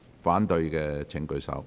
反對的請舉手。